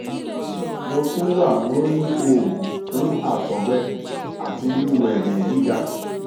mo tun wa lori oogun fun àtọgbẹ ati riru ẹjẹ giga